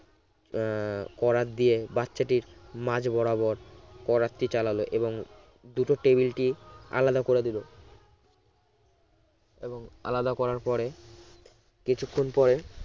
হম করাত দিয়ে বাচ্চাটির মাঝ বরাবর করাত টি চালালো এবং দুটো টেবিলটি আলাদা করে দিল এবং আলাদা করার পরে কিছুক্ষণ পরে